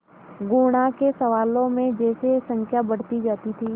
गुणा के सवालों में जैसे संख्या बढ़ती जाती थी